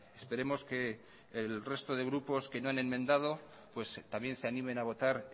esperemos que el resto de grupos que no han enmendado también se animen a votar